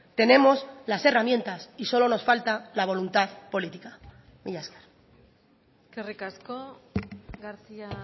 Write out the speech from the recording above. tenemos las herramientas y solo nos falta la voluntad política mila esker eskerrik asko garcía